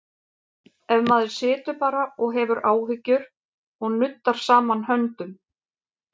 Ef maður situr bara og hefur áhyggjur og nuddar saman höndum?